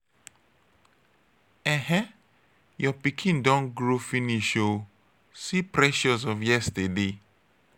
ehee! your pikin don grow finish ooo. see precious of yesterday.